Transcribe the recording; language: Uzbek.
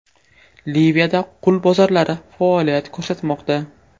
Liviyada qul bozorlari faoliyat ko‘rsatmoqda.